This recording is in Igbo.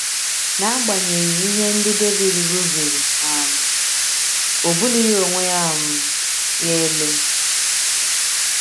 N’agbanyeghị ihe ndị Devid rụzuru um, o bulighị onwe um ya elu.